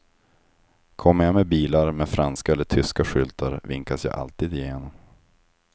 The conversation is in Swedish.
Kommer jag med bilar med franska eller tyska skyltar vinkas jag alltid igenom.